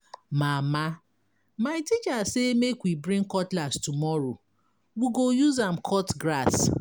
Mama my teacher say make we bring cutlass tomorrow, we go use am cut grass.